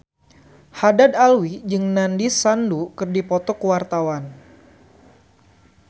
Haddad Alwi jeung Nandish Sandhu keur dipoto ku wartawan